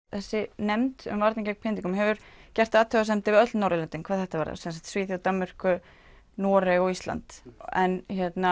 þessi nefnd vernd gegn pyntingum hún hefur athugasemdir við öll Norðurlöndin hvað þetta varðar svo sem Svíþjóð Danmörku Noreg og Ísland en